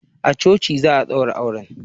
A coci za a daura auren